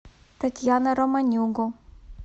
татьяна романюгу